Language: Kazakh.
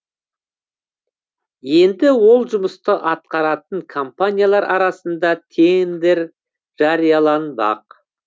енді ол жұмысты атқаратын компаниялар арасында тендер жарияланбақ